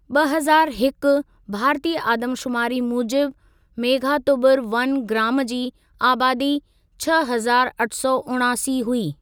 ॿ हज़ारु हिकु भारतीय आदमशुमारी मूजिबि, मेघातुबुरु वन ग्राम जी आबादी छह हज़ारु अठ सौ उणासी हुई।